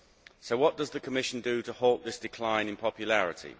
So what does the Commission do to halt this decline in popularity?